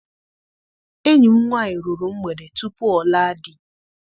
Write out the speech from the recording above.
Enyi m nwaanyị ruru mgbede tupu ọ laa di.